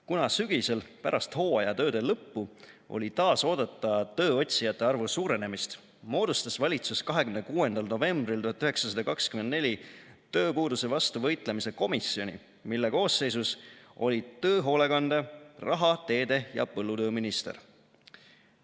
Kuna sügisel, pärast hooajatööde lõppu oli taas oodata tööotsijate arvu suurenemist, moodustas valitsus 26. novembril 1924 tööpuuduse vastu võitlemise komisjoni, mille koosseisus olid töö-, hoolekande-, raha-, teede- ja põllutööminister.